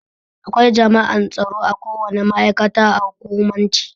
Akwai jami'an tsaro akowane ma'aikata a hukumance.